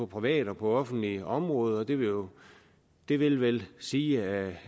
privat og offentligt område og det vil det vil vel sige at det